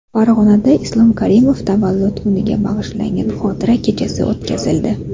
Farg‘onada Islom Karimov tavallud kuniga bag‘ishlangan xotira kechasi o‘tkazildi.